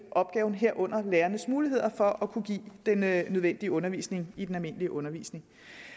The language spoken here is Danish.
af opgaven herunder lærernes muligheder for at kunne give den nødvendige undervisning i den almindelige undervisning